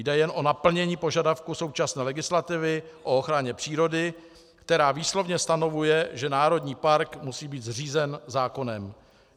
Jde jen o naplnění požadavku současné legislativy o ochraně přírody, která výslovně stanovuje, že národní park musí být zřízen zákonem.